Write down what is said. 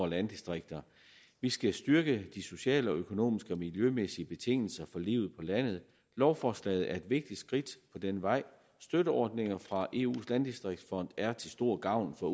landdistrikter vi skal styrke de sociale økonomiske og miljømæssige betingelser for livet på landet lovforslaget er et vigtigt skridt på denne vej støtteordninger fra eus landdistriktsfond er til stor gavn for